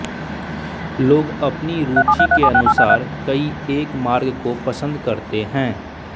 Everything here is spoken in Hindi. लोग अपनी रुचि के अनुसार कोई एक मार्ग को पसंद करते है